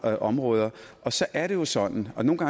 områder og så er det jo sådan at man